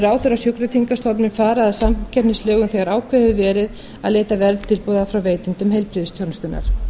ráðherra og sjúkratryggingastofnun fara að samkeppnislögum þegar ákveðið hefur verið að leita verðtilboða frá veitendum heilbrigðisþjónustunnar